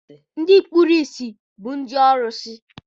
Ndị kpuru bụ ndị ọrụsị.